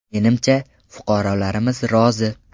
Menimcha, fuqarolarimiz rozi.